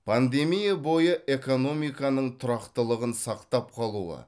пандемия бойы экономиканың тұрақтылығын сақтап қалуы